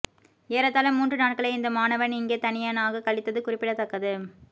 ஏறத்தாழ மூன்று நாட்களை இந்த மாணவன் இங்கே தனியனாகக் கழித்தது குறிப்பிடத்தக்கது